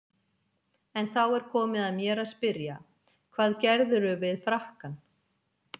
En þá er komið að mér að spyrja: hvað gerðirðu við frakkann?